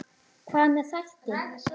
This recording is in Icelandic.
Hvað með þætti?